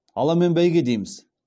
аламан бәйге дейміз